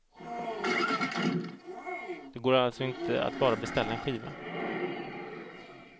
Det går alltså inte att bara beställa en skiva.